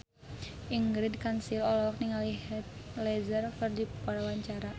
Ingrid Kansil olohok ningali Heath Ledger keur diwawancara